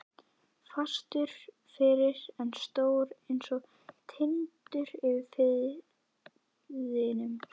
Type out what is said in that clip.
Fastur fyrir og stór einsog Tindur yfir firðinum.